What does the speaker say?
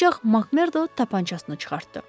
Ancaq Makmerdo tapançasını çıxartdı.